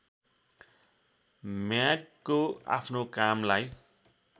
म्यागको आफ्नो कामलाई